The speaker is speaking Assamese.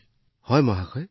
হয় মহোদয় যথেষ্ট সংখ্যক